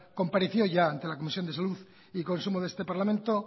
compareció ya ante la comisión de salud y consumo de este parlamento